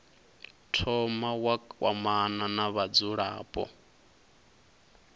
thoma wa kwamana na vhadzulapo